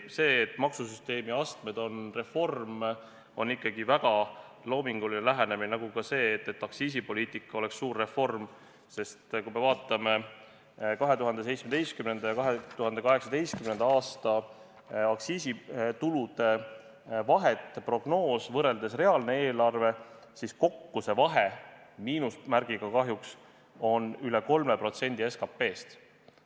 See, et maksusüsteemi astmed on reform, on ikkagi väga loominguline lähenemine, nagu ka see, et aktsiisipoliitika oleks suur reform, sest kui me vaatame 2017. ja 2018. aasta aktsiisitulude vahet, prognoos võrreldes reaalne eelarve, siis kokku see vahe – miinusmärgiga kahjuks – on üle 3% SKT-st.